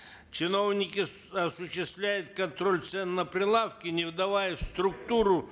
чиновники осуществляют контроль цен на прилавке не вдаваясь в структуру